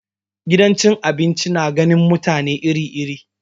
Gidan cin abinci na ganin mutane iri iri.